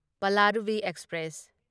Palaruvi express